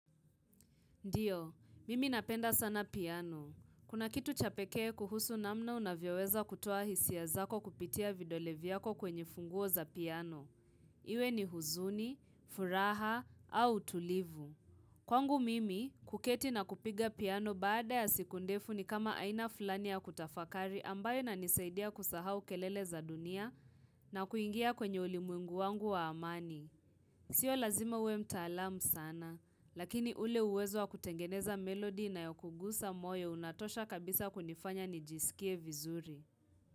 Ndiyo, mimi napenda sana piano. Kuna kitu cha pekee kuhusu namna unavyoweza kutoa hisia zako kupitia vidole vyako kwenye funguo za piano. Iwe ni huzuni, furaha au utulivu. Kwangu mimi, kuketi na kupiga piano baada ya siku ndefu ni kama aina fulani ya kutafakari ambayo inanisaidia kusahau kelele za dunia na kuingia kwenye ulimwengu wangu wa amani. Sio lazima uwe mtaalam sana, lakini ule uwezo wa kutengeneza melody inayokugusa moyo unatosha kabisa kunifanya nijisikie vizuri.